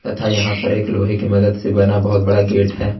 तथा यहां पर एक लोहे की मदद से बना बहुत बड़ा गेट है।